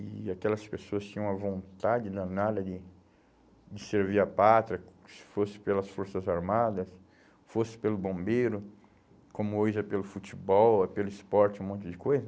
E aquelas pessoas tinham uma vontade danada de de servir a pátria, se fosse pelas forças armadas, se fosse pelo bombeiro, como hoje é pelo futebol, é pelo esporte, um monte de coisa.